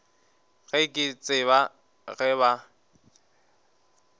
ga ke tsebe ge ba